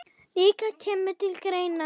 líka kemur til greina.